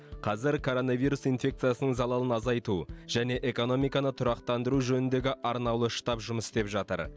қазір коронавирус инфекциясының залалын азайту және экономиканы тұрақтандыру жөніндегі арнаулы штаб жұмыс істеп жатыр